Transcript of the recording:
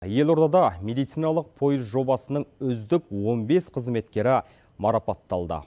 елордада медициналық пойыз жобасының үздік он бес қызметкері марапатталды